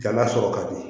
Ganga sɔrɔ ka di